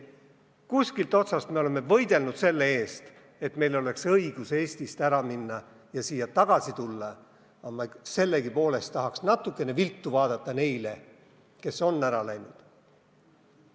Kuskilt otsast me oleme võidelnud selle eest, et meil oleks õigus Eestist ära minna ja siia tagasi tulla, aga sellegipoolest tahaksime natukene viltu vaadata neile, kes on ära läinud.